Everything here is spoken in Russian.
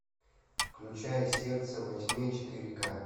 включай сердце во тьме четыре ка